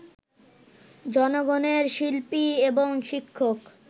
জনগণের শিল্পী এবং শিক্ষক